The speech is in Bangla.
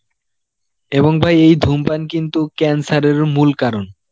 এবং ভাই এই ধুমপান কিন্তু cancer এর মুল কারণ